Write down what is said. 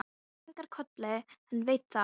Svenni kinkar kolli, hann veit það.